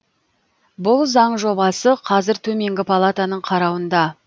бұл заң жобасы қазір төменгі палатаның қарауында